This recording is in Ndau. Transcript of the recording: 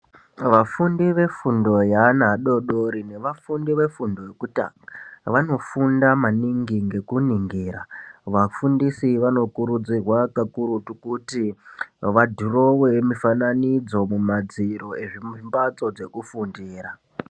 Vafundi vefundo yeana adodori nevafundi vefundo yekutanga vanofunda maningi ngekuningira. Vafundisi vanokurudzirwa pakurutu kuti vadhurowe mufananidzo kumadziro embatso dzekufundira.